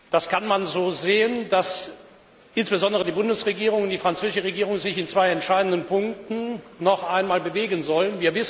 Das kann man so sehen, dass insbesondere die Bundesregierung und die französische Regierung sich in zwei entscheidenden Punkten noch einmal bewegen sollen.